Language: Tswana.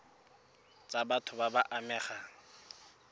tsa batho ba ba amegang